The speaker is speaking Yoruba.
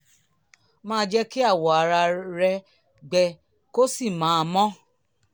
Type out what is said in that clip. máa jẹ́ kí awọ ara rẹ gbẹ kó sì máa mọ́